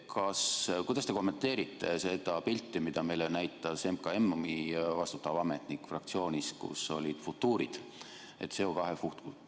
Kuidas te kommenteerite seda pilti, mida meile näitas MKM‑i vastutav ametnik fraktsioonis, kus olid futuurid?